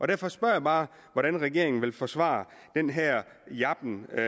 derfor spørger jeg bare hvordan regeringen vil forsvare den her jasken med